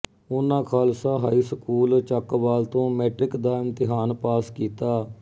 ਉਹਨਾਂ Khalsa high school Chakwal ਤੋਂ matric ਦਾ ਇਮਤਿਹਾਨ ਪਾਸ ਕੀਤਾ